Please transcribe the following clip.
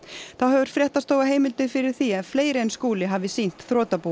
þá hefur fréttastofa heimildir fyrir því að fleiri en Skúli hafi sýnt þrotabúinu